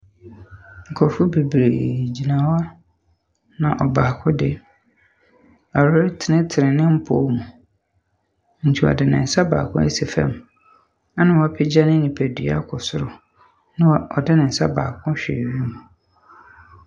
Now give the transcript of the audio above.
Nkrɔfo bebree gyina na ɔbaako de, ɔretsentsen ne mpɔw mu. Nti, ɔde ne nsa baako asi fam. Na wɔapagya ne ne nipadua akɔ soro. Na ɔde ne nsa baako ahwɛ awiem.